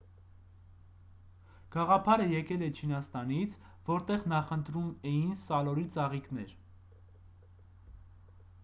գաղափարը եկել է չինաստանից որտեղ նախընտրում էին սալորի ծաղիկներ